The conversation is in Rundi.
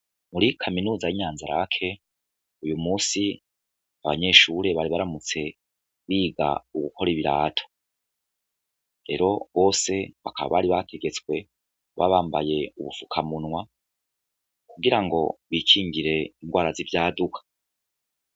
Muri kaminuza y'inyanzarake uyu musi abanyeshure bari baramutse biga ugukora ibirato rero bose bakaba bari bategetswe babambaye ubupfukamunwa kugira ngo bikingire ingwara z'ivyaduka.